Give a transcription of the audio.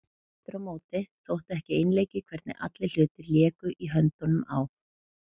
Aftur á móti þótti ekki einleikið hvernig allir hlutir léku í höndunum á